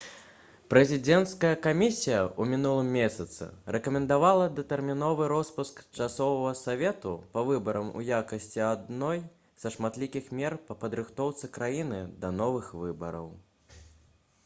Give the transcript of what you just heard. прэзідэнцкая камісія ў мінулым месяцы рэкамендавала датэрміновы роспуск часовага савету па выбарам у якасці адной са шматлікіх мер па падрыхтоўцы краіны да новых выбараў